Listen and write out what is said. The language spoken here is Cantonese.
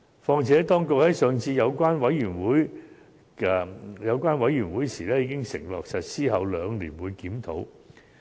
況且，當局在上次的小組委員會會議上已承諾，會在法例實施兩年後檢討。